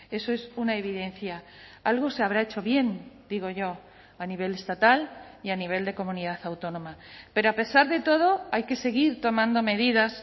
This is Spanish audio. eso es una evidencia algo se habrá hecho bien digo yo a nivel estatal y a nivel de comunidad autónoma pero a pesar de todo hay que seguir tomando medidas